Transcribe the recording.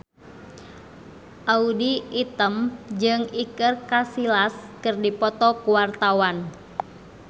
Audy Item jeung Iker Casillas keur dipoto ku wartawan